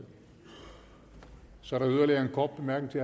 sand